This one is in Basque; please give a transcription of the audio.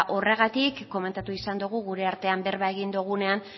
horregatik komentatu izan dugu gure artean bertan egin dugunean